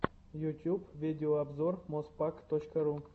ютюб видеообзор моспак точка ру